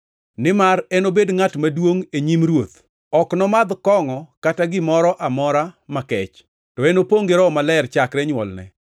Nimar enobed ngʼat maduongʼ e nyim Ruoth. Ok nomadh kongʼo kata gimoro amora makech, to enopongʼ gi Roho Maler chakre nywolne.